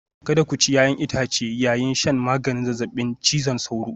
Kada ku ci 'ya'yan itace yayin shan maganin zazzabin cizon sauro